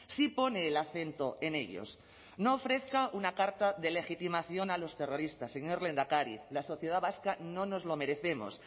sí pone el acento en ellos no ofrezca una carta de legitimación a los terroristas señor lehendakari la sociedad vasca no nos lo merecemos